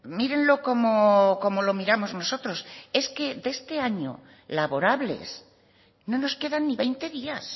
mírenlo como lo miramos nosotros es que de este año laborables no nos quedan ni veinte días